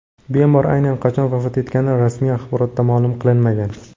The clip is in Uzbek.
Bemor aynan qachon vafot etgani rasmiy axborotda ma’lum qilinmagan.